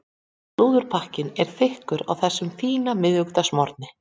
Slúðurpakkinn er þykkur á þessum fína miðvikudagsmorgni.